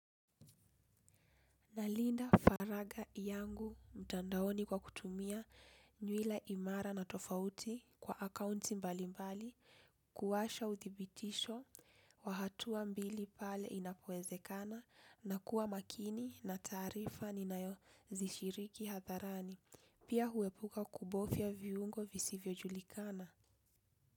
Nalinda faraga yangu mtandaoni kwa kutumia nywila imara na tofauti kwa akaunti mbali mbali kuwasha uthibitisho wa hatua mbili pale inapoezekana na kuwa makini na tarifa ni nayo zishiriki hatharani. Pia huepuka kubofya viungo visivyo julikana.